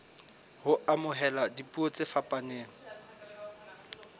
ho amohela dipuo tse fapaneng